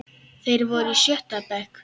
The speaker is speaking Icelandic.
Þeir voru í sjötta bekk.